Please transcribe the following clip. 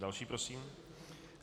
Další prosím.